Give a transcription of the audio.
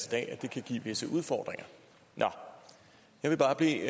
dag at det kan give visse udfordringer jeg vil bare bede